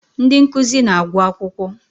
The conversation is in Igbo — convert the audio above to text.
Ndị nkuzi na-agwụ akwụkwọ.